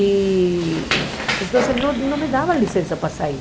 Então, não não me dava licença para sair.